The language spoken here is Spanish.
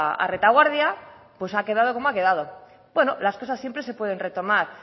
a retaguardia pues ha quedado como ha quedado bueno las cosas siempre se pueden retomar